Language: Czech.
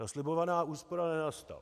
Ta slibovaná úspora nenastala.